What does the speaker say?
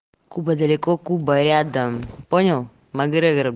куба далеко куба рядом понял макгрегор